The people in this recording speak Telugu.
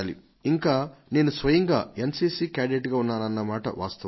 ఇంకా నేను స్వయంగా ఎన్ సిసి కేడెట్గా ఉన్నానన్న మాట వాస్తవం